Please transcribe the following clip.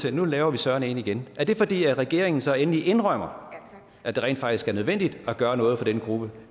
at nu laver vi søreme en tænketank igen er det fordi regeringen så endelig indrømmer at det rent faktisk er nødvendigt at gøre noget for den gruppe